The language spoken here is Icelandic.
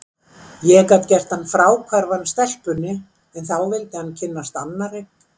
Ég gat gert hann fráhverfan stelpunni, en þá vildi hann kynnast annarri.